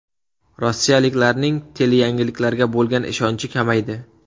Rossiyaliklarning teleyangiliklarga bo‘lgan ishonchi kamaydi.